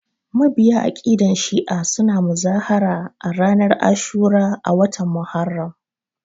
Mabiya aƙidan shi'a suna muzahara ranar ashura a watan Muharram